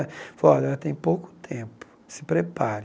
Ele falou, olha, ela tem pouco tempo, se prepare.